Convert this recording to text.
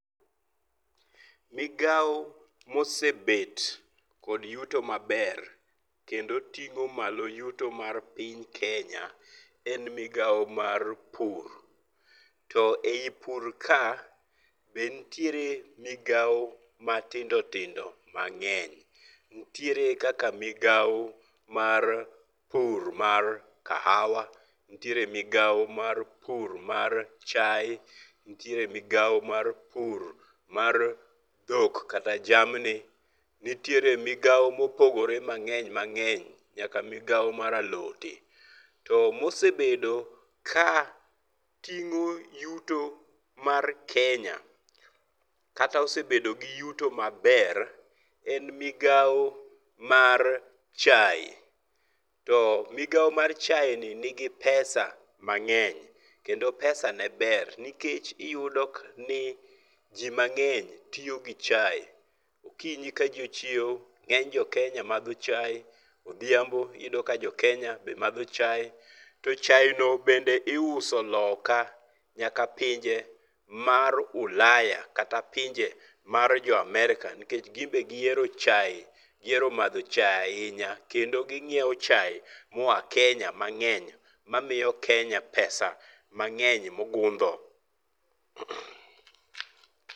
Migawo mosebet kod yuto maber kendo ting'o malo yuto mar piny Kenya, en migawo mar Pur. To ei Pur ka be ntiere migawo matindo tindo mang'eny. Nitiere kaka migawo mar pur mar kahawa, nitiere migawo mar pur mar chae, nitire migawo mar pur madhok kata jamni. Nitiere migawo mopogore mang'eny mang'eny kata mar alote. To mosebedo ka ting'o yuto mar Kenya, kata osebedo gi yuto maber, en migawo mar chae. To migawo mar chae ni nigi pesa mang'eny, kendo pesa ne ber. Nikech iyudo ni ji mang'eny tiyo gi chae. Okinyi kaji ochiewo, ng'eny jo Kenya madho chae, odhiambo iyudo ka jo Kenya be madho chae. To chaeno bende iuso loka nyaka pinje mar Ulaya kata pinje mar jo Amerka. Nikech gimbe gihero chae, gihero madho chae ahinya kendo ging'iewo chae moa Kenya mang'eny kendo gimiyo Kenya pesa mang'eny mogundho.